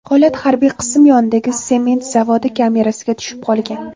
Holat harbiy qism yonidagi sement zavodi kamerasiga tushib qolgan.